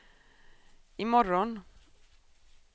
imorgon